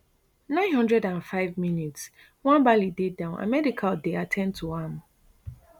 nine hundred and fivemins nwabali dey down and medical dey at ten d to am